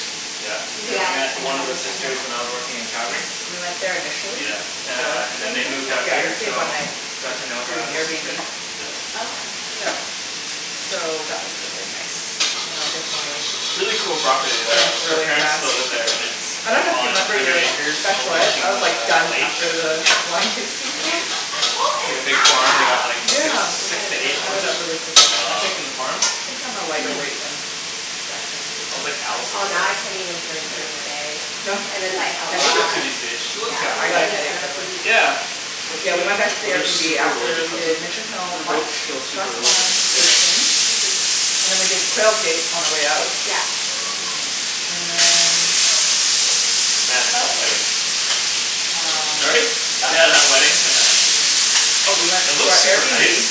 Yeah. Did you And I guys met end one up of at the Mission sisters hill? when I was working in Yes, Calgary we went there initially, Yeah. Uh before and then staying they there moved out Yeah, we here stayed Yeah. one so night with, got to know her through other sister, Airbnb. Oh, okay. yeah. So that was really nice. And I definitely Really cool property though drank like her really parents fast. still live there, and it's I dunno if you on a remember hundred your acres I overlooking was like a, a done lake. after the wine tasting tour. Who It's is like a big farm, they got like six, Yeah, it six to eight added horses, up really quickly. I think, on the farm. Wow. I think i'm a lighter weight then. I was like. Oh, now I can't even drink Yeah. during the day. No? And it's like, I'll What's Headache? she up try. to these days, she looks. Yeah. Yeah I got a headache right away. Yeah, but Yeah we she- went back to the Well, they're airbnb super after religious. we did Mission Hill lunch plus the wine tasting, and then we did Quail Gate on our way out. Yeah. And then Man, that wedding. um, what Sorry? did Yeah, the wedding. we do. Oh we went It to looks our super nice. Airbnb,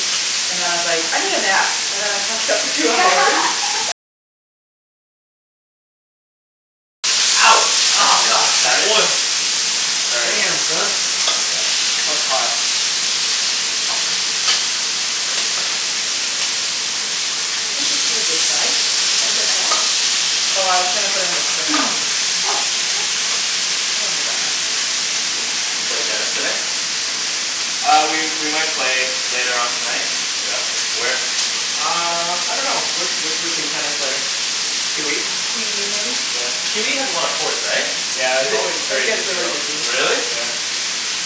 and then I was like I need a nap, and then I passed out for two hours Ouch! Oh Careful. god! That oil. Sorry. Damn, son. It's quite hot. You think this is a good size? Oh I was gonna put in the spring roll. Oh, okay. We don't need that much. Did you play tennis today? Uh we we might play later on tonight. Yeah? Where? Uh, I dunno. Where where should we play tennis later? QE? QE has a lot of courts, right? Yeah. It's always very busy though. Really? Yeah.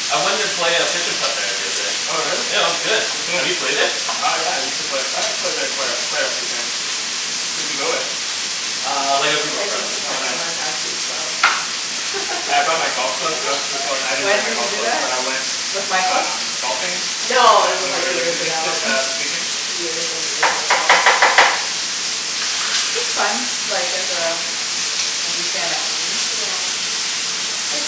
I went and play uh there the other day. Oh really? Yeah, it was good. Have you played it? Uh yeah, I used to play, I played there quite a, quite a few times. Who'd you go with? Uh, like a I group of played like friends. Oh nice. once. I was too slow. Yeah, I brought my golf clubs, I was, oh well I didn't bring When my did you golf do clubs but that? I went With Michael? um, golfing No, this when was we were like in the years Kootenays ago. s- uh this weekend. Years and years ago. It's fun. Like there's a, a weekend activity. Yeah. Like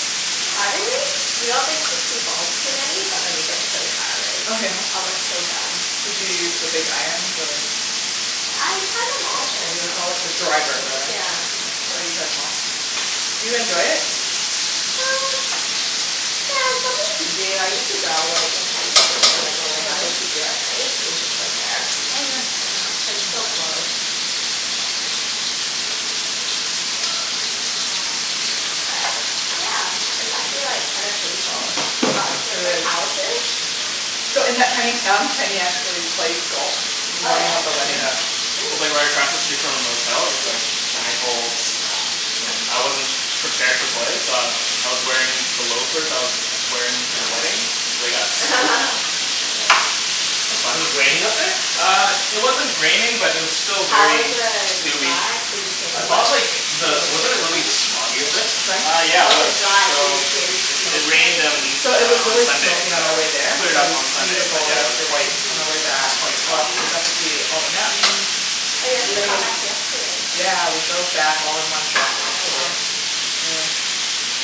surprisingly, you don't think sixty balls's too many but it like gets so tiring. Oh yeah? I was like, so done. Did you use the big iron the I tried them The all what pretty do much. you call it, the driver rather. Yeah. Oh you tried em all. Do you enjoy it? Uh, yeah, it's something to do. I used to go like in highschool, like when we had nothing to do at night, we'd just go there. Oh yeah. Yeah, but it's so close. But, yeah. It's actually like kinda painful. I got two of my calluses. So in that tiny town, Kenny actually plays golf In the Oh morning yeah? of the wedding. Yeah, It was Cool! like right across the street from our motel, with like nine holes, and I wasn't prepared to play so I, I was wearing the loafers that I was wearing to the wedding, and they got soaked, yeah, it was It fun. was raining up there? Uh, it wasn't raining but it was still How was very the dewy drive? I and thought wet. of like, the, wasn't it really smoggy up there? Uh yeah it was. So it it rained on So it was uh on really Sunday smoky so, on our way it there cleared But up it was on Hmm. Sunday but beautiful yeah it was quite yesterday on our way back. quite Oh, foggy. we got to see all the mountains, Oh, you guys just got lakes. back yesterday. Yeah, we drove back all in one shot Oh wow. yesterday. Yeah,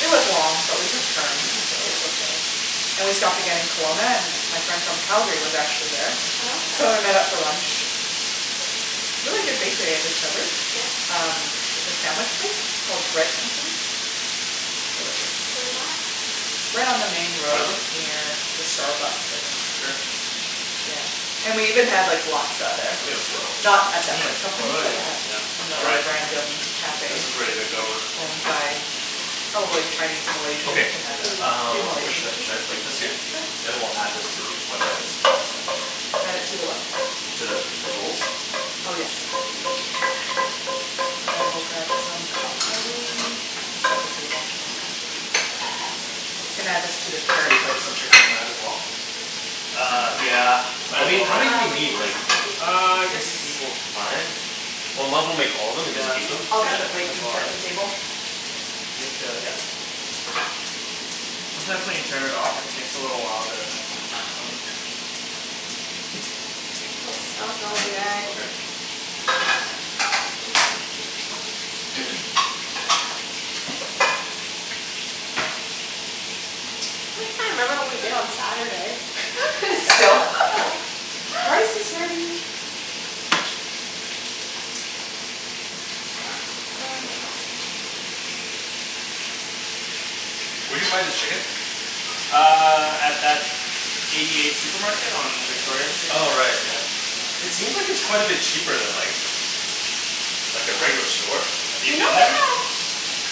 it was long but we took turns so Yeah. it was okay. And we stopped again in Kelowna and my friend from Calgary was actually there Oh okay. So we met up for lunch. Really good bakery I discovered. Yeah? Um, like a sandwich place, called Bread Company? Delicious. Where's that? Right on the main Try road them? near the Starbucks I think, Here. yeah. And we even had like, Laksa there. Cool! Not at that Mm. Bread That's Company really but good. Yeah, a, all another right. random This cafe is ready to go. owned by probably Chinese Malaysians, Okay, who had a few uh, where Malaysian should I, dishes. should I plate this here? Sure. Then we'll add this to the. Add it to the what? To the, the rolls? Oh yes. I will grab some cutlery, I can set the table as well. Oh we can add this to the Should carrot we put plate. some chicken in that as well? Uh, yeah. Well, we need, how many do we Uh, we need need like, some plates. one two three four five. Well, might as well make all of'em and then just Yeah, keep them, okay. yeah might as well, right? I'll grab the You have plates and to, yeah. set the table. Sometimes when you turn it off it takes a little while to come back on. It smells really good. Okay. I still can't remember what we did on Saturday. Still? Rice is ready! Where d'you buy the chicken? Uh, at that Eighty eight supermarket on Victoria street. Oh right yeah. It seems like it's quite a bit cheaper than like, like a regular store. Have you You know been they have there?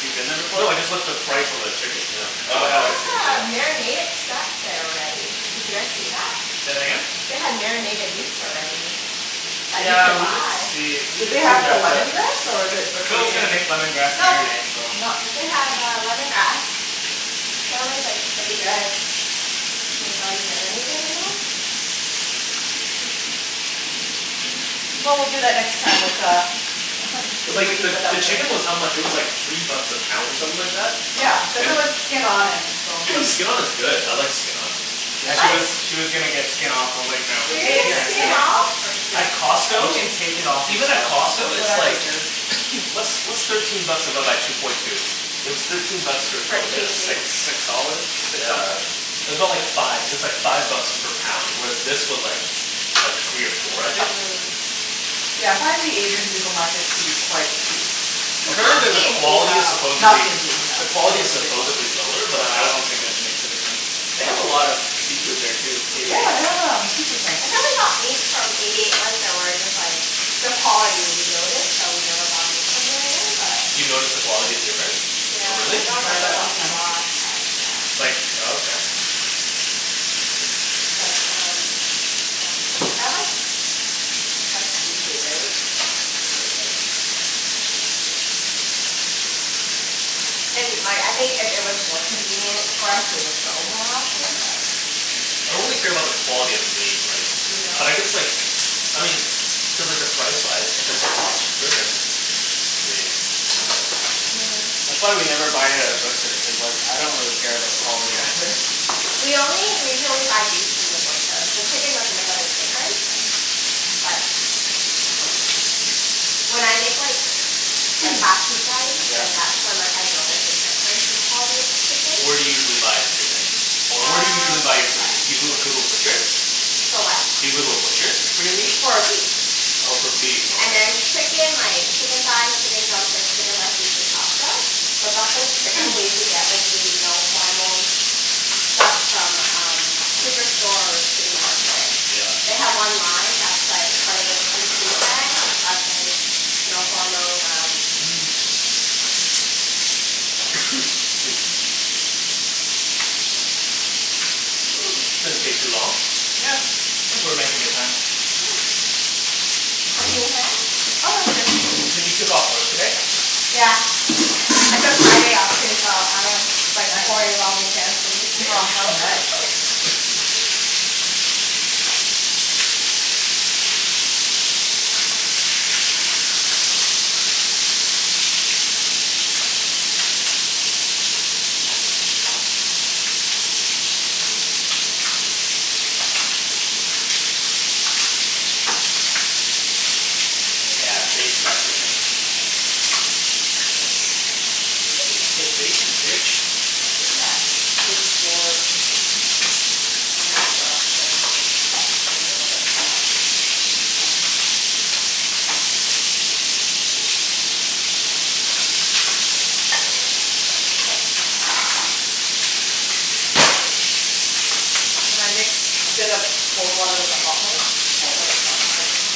You've been there before? No, I just looked at the price on the chickens, yeah. They No, I haven't. have uh marinated stuff there already. Did you guys see that? Say that again? They have marinated meats already, that you Yeah, can we did buy. see, we Did did they see have the that lemongrass or but the But Phil's gonna Korean. make lemongrass No, marinade so. they have uh lemongrass. Apparently it's like pretty good. Well, we'll do that next time with uh. The, the chicken was how much, it was like three bucks a pound or something like that? Yeah, cuz it was skin-on and bone in. But skin-on is good, I like skin-on. You She guys was, she was gonna get skin off, I was like, "No.". You were gonna get skin off? At You Costco can take it off Even at yourself. Costco That's what it's I like, figured what's what's thirteen bucks divided by two point two? It was thirteen bucks per Per kilogram. It's like kg? six dollars? Six Yeah. something? It's aboutt like five, it was like five bucks per pound. With this was like, like three or four, I think? Mm Yeah I find the Asian supermarkets to be quite cheap. Not Apparently the, the T&T quality is though. supposedly, the quality is supposedly lower No, but I I don't don't think it'd make a difference. They have a lot of seafood there too. Eighty eight? Yeah, they have um, seafood tanks. I think we only got meat from Eighty eight once and we were just like, the quality we noticed, so we never bought meat from there again but. You noticed the quality is different? Yeah, Hm, we Really? I can don't try it remember out this what we time. bought, but yeah. Like, oh okay. But um, yeah. They have like, fresh seafood, right? It's pretty good. And like, I think if it was more convenient for us we would go more often but. I don't really care about the quality of the meat, like. You don't? But I guess like, I mean, cuz like the price-wise, if it's a lot cheaper then, I mean That's why we never buy it at a Yeah. butcher, cuz like I don't really care about the quality either. We only, we usually only buy beef from the butcher, the chicken doesn't make a big difference, but when I make like then that's when like I notice the difference in quality of chickens. Where do you usually buy the chicken? Or where do you usually Um. buy your good meat, you go, go to a butcher? For what. Do you go to a butcher for your meat? For beef. Oh for beef, And okay. then chicken like, chicken thighs, chicken drumsticks, chicken breast usually Costco. But buffalo chicken we usually get like the no hormone stuff from um Superstore or City Market. They Yeah. have one line that's like part of the PC brand that's like no hormone um, so. This doesn't, didn't take too long. Yeah, think we're making good time. Do you need a hand? Oh no I'm good. Okay. So you took off work today? Yeah, I took Friday off, too, so I don't have to bike Nice. four day long weekend for me. Should we get Yeah, baste two that chicken. plates of water or do you think one is enough? Hm we could do two plates, You yeah. can baste It's in that big drawer, just underneath the rice cooker, in the middle there. And I mix a bit of cold water with the hot water? Just K. so it's not piping hot.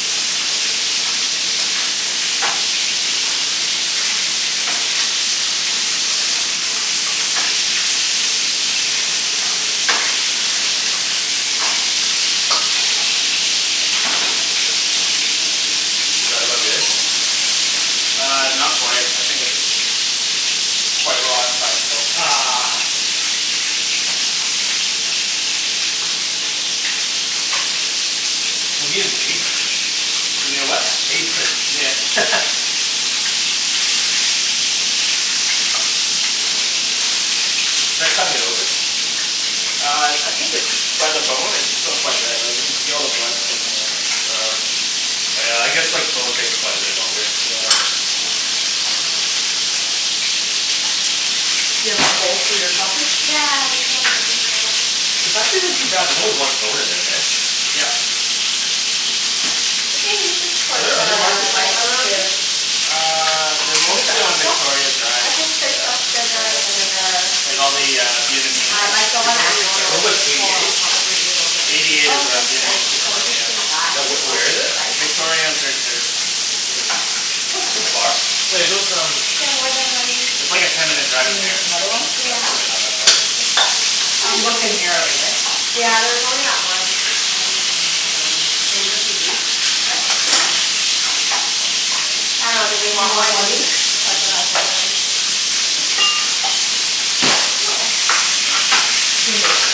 Is that about good? Uh, not quite. I think it's quite raw inside so Ugh. We need an apron. You need a what? Apron. Yeah. Do I cut it open? Uh I, I think it's, by the bone it's still quite red, like you can see all the blood still coming out. Oh, oh yeah, I guess like bones take quite a bit longer. Yeah You have? Yeah, that's what this is It's for. actually not too bad, there's only one bone in there. heh? Yep. We can use this for Are there other the markets like rice that around here? too. Uh, they're What is mostly that, fish on sauce? Victoria Drive. I did fish Yeah. sauce, Yeah, sugar, vinegar. like all the uh Vietnamese Um like the one that you supermarkets are Wait, over normally there. what's Eighty pour eight? on top of the noodles or Eighty eight anything. is Oh a okay, Yeah, cool. Vietnamese so we supermarket, can serve yeah. that Yeah, if where you want, where is for it? the rice. Victoria and thirty third. Hm. That's like too far. Wait those um. Can I have more than one? It's like a ten minute Do drive you from need here. another one? Yeah, It's really not that far. there's um. You looked in here already right? Yeah there's only that one. Um, all right. Can we just use these? What? I dunno. Do we Do you want want one one each? each? That's what I was Um, yeah. wondering. We can go over there.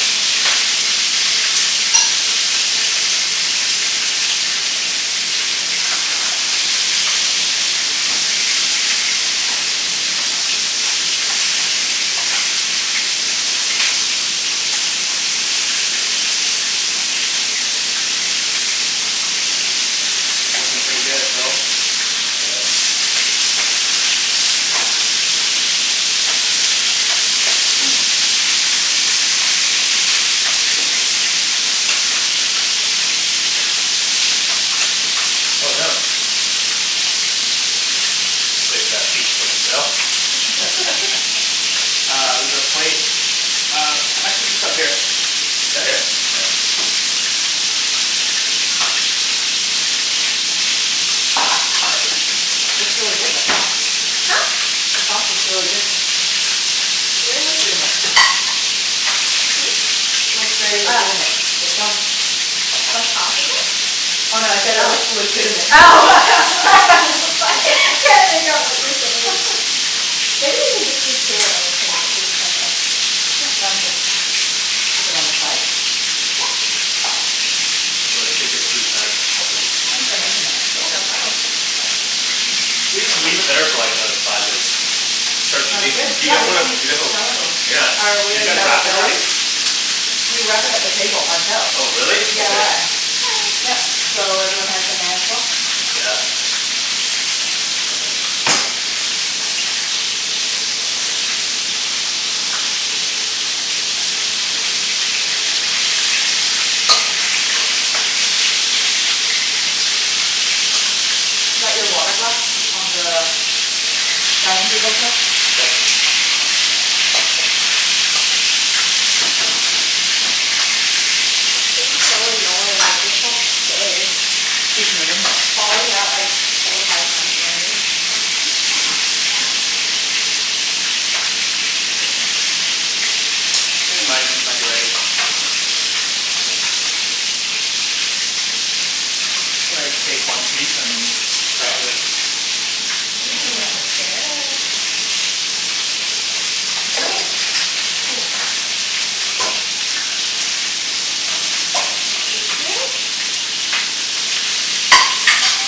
Looking pretty good, Phil. Yeah. Oh no. Save that feet for myself Uh, there's a plate. Uh, actually just up here. Here? Yeah. Looks really good, the sauce. Huh? The sauce looks really good. They're legitimate. Hm? Looks very legitimate, the Oh. sauce. What sauce is Oh it? no I said it looks legitimate. Oh. I'm so sorry, can't make out what you're saying. Maybe you can just leave two and then we can scoop from it. Yeah, sounds good. Keep it on the side? Yep. take your sweet time. Thanks for making that. Yeah, no problem. Do we just leave it there for like another five minutes? Start Um eating? good, You yeah guys we wanna, can do make you guys the wanna salad rolls. Yeah. Oh, we Did you already guys have it wrap it set up. already? We wrapped it up, the table, ourselves. Oh really? Okay. DIY. Yup so, everyone has their hands washed? Yeah. Is that your water glass on the dining table still? Thanks. This thing's so annoying. It just won't stay. It's Falling out like four, five times already. I think mine might be ready. I think I'll take one piece and cut it through. Ooh, that looks good. Is it? Um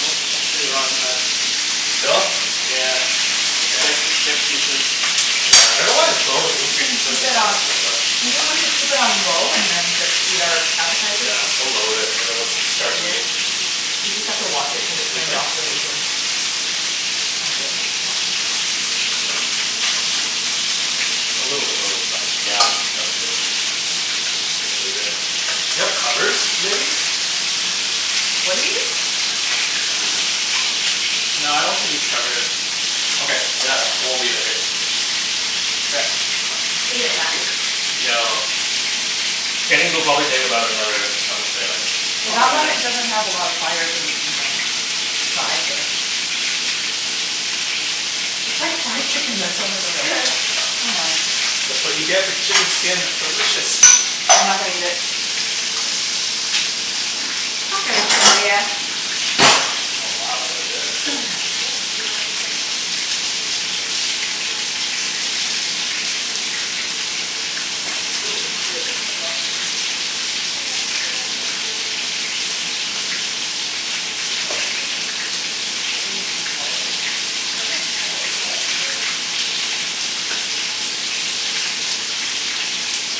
Nope, pretty raw inside. Still? Yeah Damn. Yeah, I dunno why the bone would You increase can the keep cooking it time on, by so much. do you think we should keep it on low and then just eat our appetizers? Yeah, we'll lower it and then we'll start eating You just have to watch it cuz it turns off really easily. I can do it. A little bit low is fine. Yeah, that's good. Just leave it. Do you have covers, maybe? What do you need? No, I don't think we need to cover it. Okay, yeah. I will leave it here. Okay. Is it done? No. Kenny's will probably take about another, I would say like Well, that one doesn't have a lot of fire cuz it's in the side there. It's like chicken there's so much oil. That's what you get for chicken skin, it's delicious! I'm not gonna eat it. It's not gonna kill ya. Oh wow, look at this. Yes, do you like the assortment? Yes, very fancy. Ooh looks good, what kinda sauce is this? It's like a peanut buttery um Nice. Spicy fish Don't we need sauce. hot water? It's right Yep. here. Oh, look at that.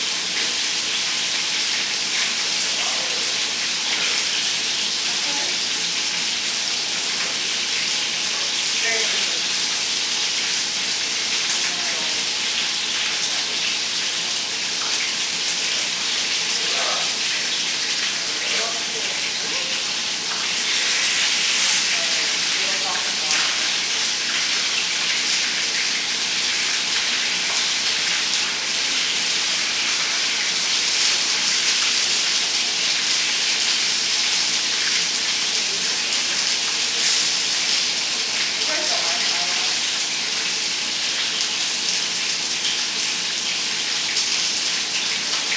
Thank you. Thank you. Oh wow, look at that, it even has pattern on it. That's how it is. It's always like So, what, you just that. like dip it in? Yeah. And Very it quickly. softens. And then it'll Soften? Yep. Soften. Doesn't look like it's softened. It It It will. will, will. it takes Oh okay. time. I've never done You it don't like this need before. to, Yeah. really? It doesn't need that much water No, it either. doesn't. It'll soften more once it's out. You just want every, every part touches water. Yeah. Cuz then the parts that don't, they stay hard. Should we use our fingers for the noodles or how are we Yeah. I I'm If you fine gonna guys with either. don't mind, I don't Mkay. mind. I'm excited.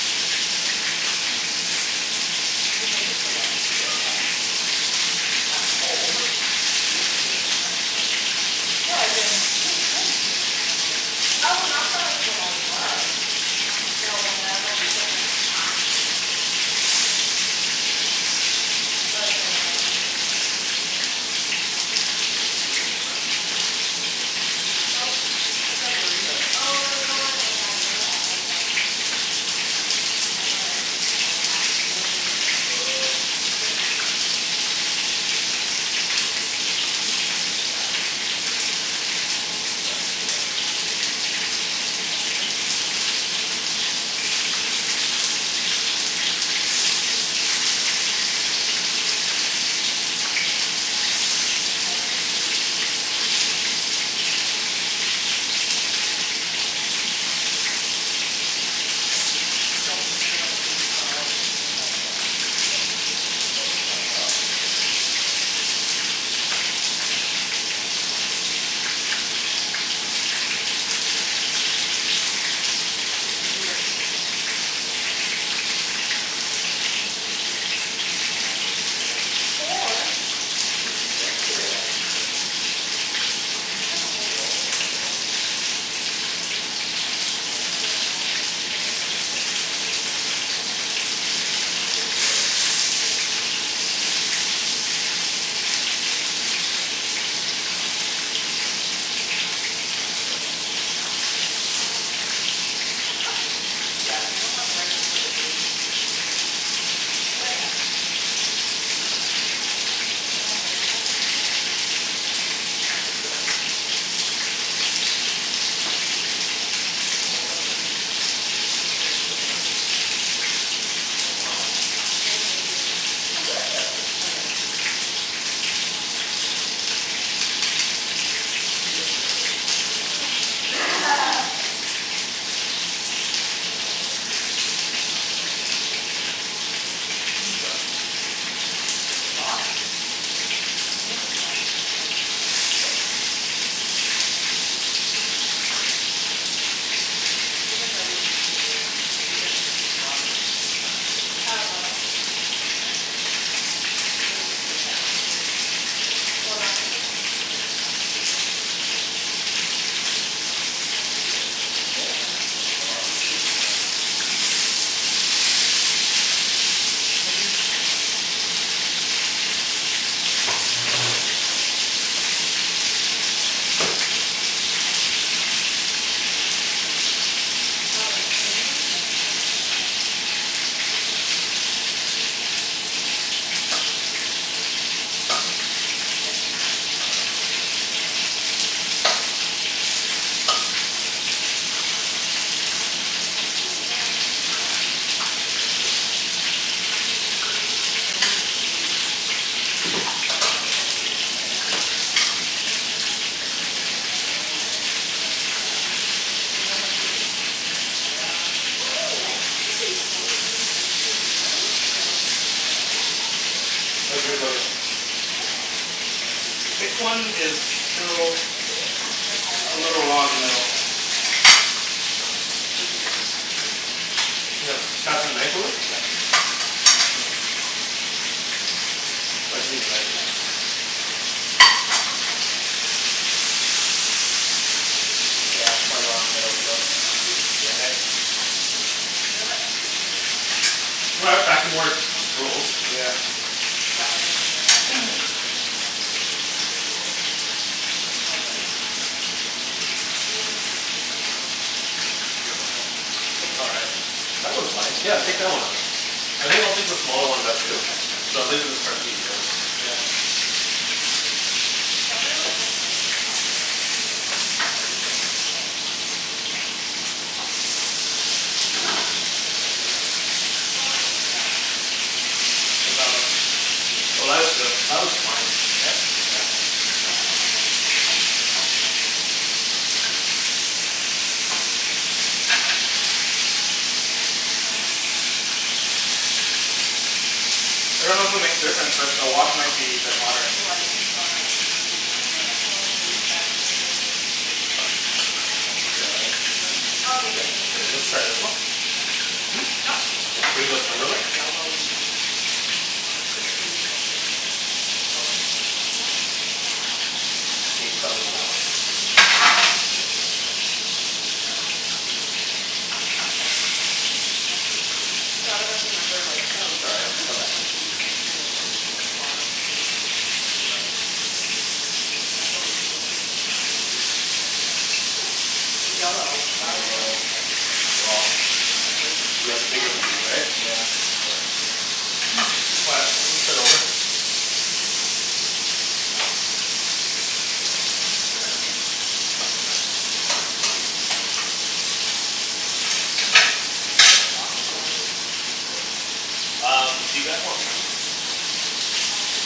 This is like one of my favorite lunches to make. You make it for lunch? At Yep home? Yep. At home? You don't make it at a restaurant? No, as in, who has time to make this normally. Oh, not for like when I work. Oh No when okay. I'm like when I have classes or something, and I don't have to go to school. Or it's Oh. like when I don't have to go to work and I just go to class. Maybe we made this but I'm not too sure about the proportion of everything. Don't It's stuff like too a much. burrito right? Oh no, you Just- don't want it like that. You want it at one end. Oh, one end. At one end so you can roll it up. You don't do it in the middle. Oh, okay. Just like a burrito, pretty much. Okay, like that? I'll start with the deli meat. E- I'm extra starting meat. with veggies. I want this meat. This is fun. I had this party once for dinner. Just uh Don't forget the pork. Don't forget about the. I want, I'm I'm gonna have uh this deli meat first. Oh just by itself? Okay, let's Yeah. try that. Oh it's quite a lot. Did you do it like this? This looks so good. Kenny, did you do it like this? Uh I put four pieces in Four?! Geez. Just Look put how much we two. have. Did you cut the whole roll? Yeah. Wow. That's not bad. You wanna make two at a time cuz I get really messy when I start eating and no one wants my fingers all over their food. It's all good. We're all gonna be messy. Yeah, I think I went overboard with the stuffing. Yeah you don't want the rice paper to break, that's the key, but it happens. Mmm. This is really good. When I have dinner by myself, this is what I make for dinner. Nice. Awesome. Wow, look at Wenny's. That looks so nice. Thank you. Oh wow. Watch many videos. Oh yeah, she does this all the time yeah, expert. Maybe I shouldn't have put four slices of ham in there. Doesn't matter how it looks. As long as it tastes good. Just shove each thing in your mouth, one at a Good time sauce. Do you make the Thanks. sauce all the time from scatch? Mhm. It's, it's so easy. Mm. You make everything seem very easy, even making ramen from scatch. Oh no, that's Jason's thing, I don't do it. It's way too He many made steps for ramen me. from scratch? Well, not the noodles, like the soup It base. was really good. Mhm. I wish he'd make it again. He made it once more. Well, I wish he would invite me. Maybe you should check on the chicken. Hopefully my stomach doesn't hate me. I did bring Tums. Pretty light. Oh like the Did you bring Tums? I, I brought Oh, Tums. good. Sorry Don't worry about it. I just, just, I can't have anything spicy or cit- citrusy. Like I, that's everything I love. I'm so Mhm sad. Which When did he say you can? He didn't really say No? It's just more like You know How you when you feel? feel better, like it's up to you if you wanna Do you eat know them or what you not. ate again? I think it's like, I had these really really spicy noodles the night before I got Mhm. sick. How's But your? then I was like, it's not like I don't eat spicy The foods thick so I one was is surprised how much it still affected me. Like Mhm. ne- a I didn't little eat raw in the very much middle. of it at all. Just cuz like Where'd you they get were the spicy expensive. noodles from? Jason Ken, brought them home. that's the knife drawer? Oh. I could use a knife. He like had lunch with uh, ex-coworker of his, and like it was like Taiwanese like noodles Yeah, it's quite drenched in raw like in the middle chilli still. oil. Damn it. You know that chilli fish Well, Ta- um, it's back to more Northern rolls. Beijing Yeah. style? That one just never never sits well with me. Which one? It's called like numbing chilli Mm. Fish oil thing. It's just pure oil. Looks all right That looks fine. Yeah, take that one out. I think I'll take the smaller ones out too. I had it twice, we can start and eating now. every time I got major stomach pain. Yeah, pretty much my stomach like felt the burn when I ate it, but usually it goes away. Mm. And then, Mhm. I was like, I could barely get up, well I did get up out of bed but it's just like How's that constantly look? Oh there that all looks good, day. that looks Mhm, fine. Yeah? Yeah. contractions? Did you get contractions? Mm- mm. I dunno if it'll make a difference but the wok might be a bit hotter. Oh I even saw at the eighty eight market, I saw the Ben Schill the crepe mix, you know the crepe Oh, the thing? Here Vietnamese let's steamed try this crepe? one. Yeah. Not steamed. Here, bring the It's plate Oh. like over. that yellowy crispy pancake thing, they call it um. Oh, never had that. No? It's like yellow, and it comes with lettuce usually at the restaurants. You can wrap it. I've never had it. Oh okay. I'll take you next time. So I dunno if you remember like our That looks all Facebook photos That looks right. but good. when we went to like a Vietnamese farm to like kinda do a f- cooking thing? Mhm. That's what we flipped in the pans. Mm. Like uh the yellow, This I one's always a thought it little was egg, but no there's raw. no egg, it's just like rice Yeah, the bigger piece flour right? mixed with, Yeah. oh shoot, what's that yellow thing. Mm, not saffron. Turmeric. Turmeric! Yeah. Turmeric powder makes it yellow. You mix other things in it, The sauce is water delicious, based. Wenny. Um, do you guys want rice? Uh, yes!